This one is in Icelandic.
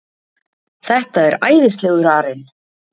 Þetta er æðislegur arinn.